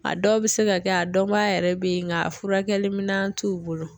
A dɔw bɛ se ka kɛ a dɔnbaga yɛrɛ be yen ng'a furakɛli minan t'u bolo